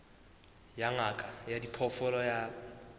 ya ngaka ya diphoofolo ya